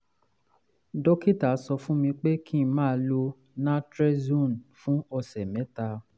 dókítà sọ fún mi pé kí n máa lo naltrexone fún ọ̀sẹ̀ mẹ́ta